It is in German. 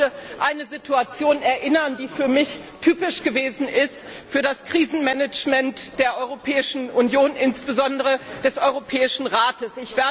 Ich möchte an eine Situation erinnern, die für mich typisch gewesen ist, für das Krisenmanagement der Europäischen Union, insbesondere des Europäischen Rates.